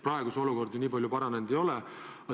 Praegu olukord nii palju paranenud ei ole.